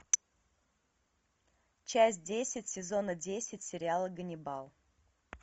часть десять сезона десять сериала ганнибал